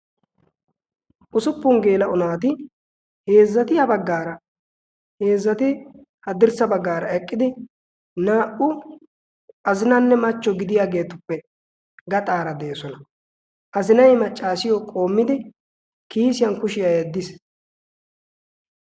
Usuppun geela'o naati heezzati a baggaara heezzati haddirssa baggaara eqqidi naa"u azinaynne machcho gidiyaageetuppe gaxaara de'osona azinai maccaasiyo qoommidi kiisiyan kushiyaa yeeddiis.